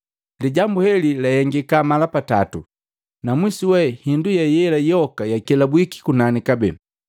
Lijambu heli lahengiki mala patatu, na mwisu we hindu yela yoka yakelabwiki kunani kabee.